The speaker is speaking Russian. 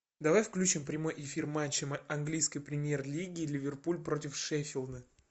давай включим прямой эфир матча английской премьер лиги ливерпуль против шеффилда